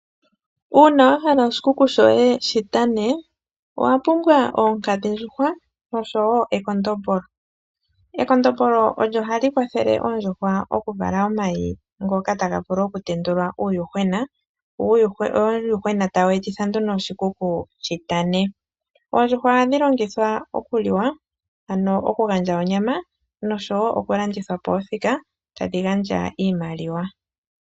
Uuna wa hala oshikuku shoye shi tane owa pumbwa oonkadhidjuhwa nosho wo ekondombolo. Ekondombolo olyo hali kwathele oondjuhwa oku vala omayi ngoka taga vulu oku tendulwa uuyuhwena wo uuyuhwena tawu etitha oshikuku shi tane. Oondjuhwa ohadhi longithwa oku liwa ano oku gadja onyama nosho wo oku landithwapo othika tadhi gadja iimaliwa.